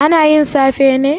Ana yin safe ne?